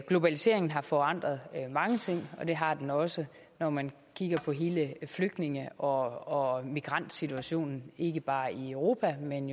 globaliseringen har forandret mange ting og det har den også når man kigger på hele flygtninge og migrantsituationen ikke bare i europa men